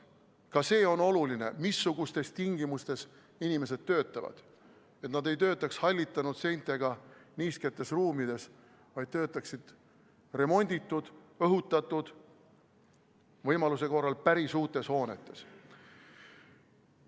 Ka see on oluline, missugustes tingimustes inimesed töötavad, et nad ei töötaks hallitanud seintega niisketes ruumides, vaid töötaksid remonditud, õhutatud, võimaluse korral päris uutes hoonetes.